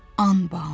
Anbaan.